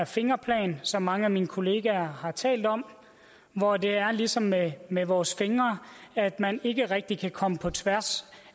fingerplan som mange af mine kollegaer har talt om hvor det er ligesom med med vores fingre at man ikke rigtig kan komme på tværs